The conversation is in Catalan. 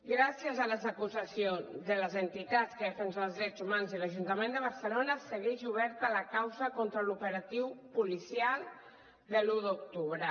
gràcies a les acusacions de les entitats que defensen els drets humans de l’ajun·tament de barcelona segueix oberta la causa contra l’operatiu policial de l’un d’octu·bre